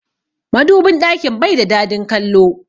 Madubin ɗakin bai da dadin kallo.